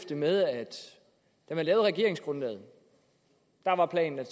det med at da man lavede regeringsgrundlaget var planen at